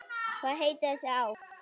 Hvað heitir þessi á?